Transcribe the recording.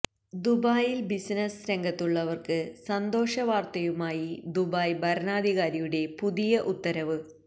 ദുബായില് ബിസിനസ്സ് രംഗത്തുള്ളവര്ക്ക് സന്തോഷ വാര്ത്തയുമായി ദുബായ് ഭരണാധികാരിയുടെ പുതിയ ഉത്തരവ്